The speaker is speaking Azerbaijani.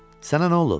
Sənə nə olub?